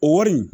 O wari in